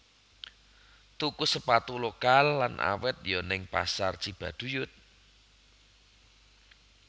Tuku sepatu lokal lan awet yo ning Pasar Cibaduyut